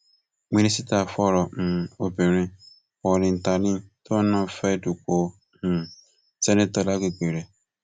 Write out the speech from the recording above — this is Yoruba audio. mínísítà fọrọ um obìnrin paulline tallen tóun náà fẹẹ dúpọ um ṣèǹtẹtò lágbègbè rẹ